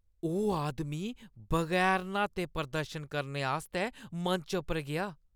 ओह् आदमी बगैर न्हाते प्रदर्शन करने आस्तै मंच पर गेआ।